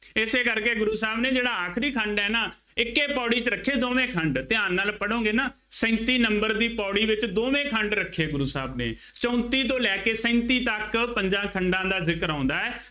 ਇਸੇ ਕਰਕੇ ਗੁਰੂ ਸਾਹਿਬ ਨੇ ਜਿਹੜਾ ਆਖਰੀ ਖੰਡ ਹੈ ਨਾ, ਇੱਕੇ ਪੌੜੀ ਚ ਰੱਖੇ ਦੋੇਵੇਂ ਖੰਡ, ਧਿਆਨ ਨਾਲ ਪੜ੍ਹੋਗੇ ਨਾ, ਸੈਂਤੀ number ਦੀ ਪੌੜੀ ਵਿੱਚ ਦੋਵੇਂ ਖੰਡ ਰੱਖੇ ਗੁਰੂ ਸਾਹਿਬ ਨੇ, ਚੌਂਤੀਂ ਤੋਂ ਲੈ ਕੇ ਸੈਂਤੀਂ ਤੱਕ ਪੰਜਾਂ ਖੰਡਾਂ ਦਾ ਜ਼ਿਕਰ ਆਉਂਦਾ ਹੈ।